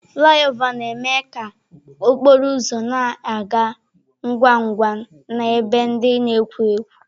Flị ọva na-eme ka okporo ụzọ na-aga ngwa ngwa n'ebe ndị na-ekwo ekwo.